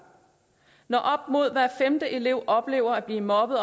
når op mod hver femte elev hvert år oplever at blive mobbet